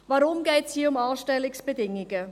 Warum geht es hier um Anstellungsbedingungen?